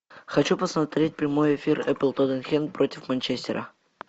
хочу посмотреть прямой эфир апл тоттенхэм против манчестера